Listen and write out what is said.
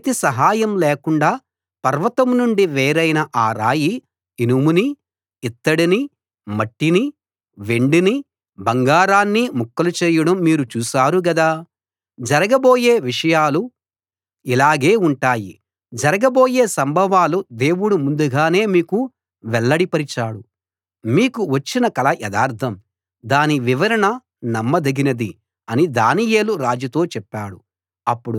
చేతి సహాయం లేకుండా పర్వతం నుండి వేరైన ఆ రాయి ఇనుముని ఇత్తడిని మట్టిని వెండిని బంగారాన్ని ముక్కలు చేయడం మీరు చూశారు గదా జరగబోయే విషయాలు ఇలాగే ఉంటాయి జరగబోయే సంభవాలు దేవుడు ముందుగానే మీకు వెల్లడిపరిచాడు మీకు వచ్చిన కల యథార్థం దాని వివరణ నమ్మదగినది అని దానియేలు రాజుతో చెప్పాడు